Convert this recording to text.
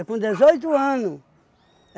com dezoito ano.